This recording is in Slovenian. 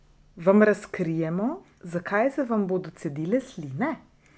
Vam razkrijemo, zakaj se vam bodo cedile sline?